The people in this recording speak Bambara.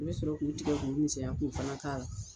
I bɛ sɔrɔ k'u tigɛ k'u misɛnya k'u fana k'a la.